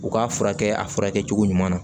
U k'a furakɛ a furakɛcogo ɲuman na